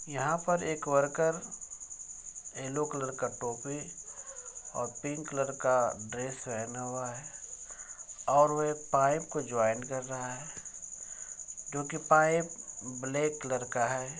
यहां पर एक वर्कर एक येल्लो कलर का टोपी और पिंक कलर का ड्रेस पहना हुआ है और वह पाइप को जॉइंट कर रहा है जो कि पाइप ब्लैक कलर का है।